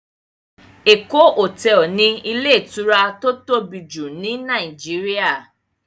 Eko hotel ni ilé ìtura tó tóbi jù ni Nàìjíríà.